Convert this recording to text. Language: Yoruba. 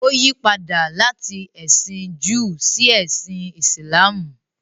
Ó yí padà láti ẹ̀sìn Júù sí ẹsìn Ìsìlámù.